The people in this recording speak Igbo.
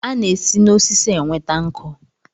A na-esi na osisi enweta nkụ.